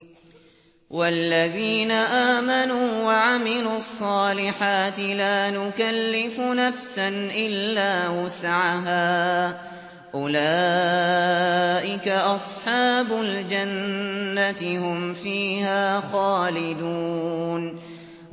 وَالَّذِينَ آمَنُوا وَعَمِلُوا الصَّالِحَاتِ لَا نُكَلِّفُ نَفْسًا إِلَّا وُسْعَهَا أُولَٰئِكَ أَصْحَابُ الْجَنَّةِ ۖ هُمْ فِيهَا خَالِدُونَ